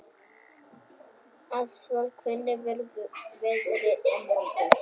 Ástvald, hvernig verður veðrið á morgun?